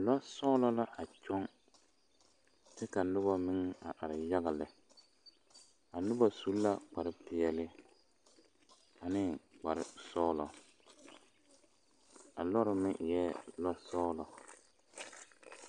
lɔsɔglɔ la a kyɔŋ kyɛ ka noba meŋ a are yaga lɛ a noba su la kpare peɛle ane kpare sɔglɔ a lɔɔre meŋ eɛ lɔsɔglɔ.